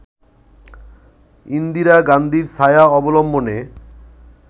ইন্দিরা গান্ধীর ছায়া অবলম্বনে